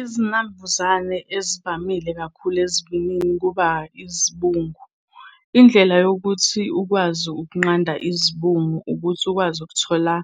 Izinambuzane ezivamile kakhulu ezivini kuba izibungu. Indlela yokuthi ukwazi ukunqanda izibungu ukuthi ukwazi ukuthola